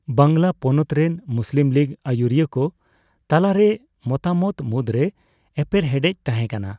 ᱵᱟᱝᱞᱟ ᱯᱚᱱᱚᱛ ᱨᱮᱱ Muslim League ᱟᱭᱩᱨᱤᱭᱟᱹᱠᱚ ᱛᱟᱞᱟᱨᱮ ᱢᱚᱛᱟᱢᱚᱛ ᱢᱩᱫᱽᱨᱮ ᱮᱯᱮᱨᱦᱮᱸᱰᱮᱡᱽ ᱛᱟᱦᱮᱸ ᱠᱟᱱᱟ ᱾